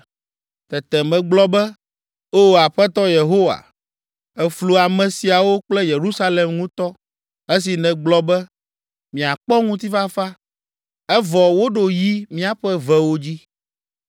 Tete megblɔ be, “O Aƒetɔ Yehowa, èflu ame siawo kple Yerusalem ŋutɔ esi nègblɔ be, ‘Miakpɔ ŋutifafa.’ Evɔ, woɖo yi míaƒe vewo dzi.”